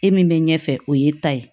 E min bɛ ɲɛfɛ o ye e ta ye